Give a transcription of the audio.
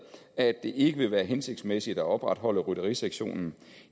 at det ikke vil være hensigtsmæssigt at opretholde rytterisektionen